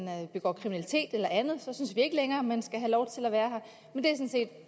begår kriminalitet eller andet så synes vi ikke længere at man skal have lov til at være her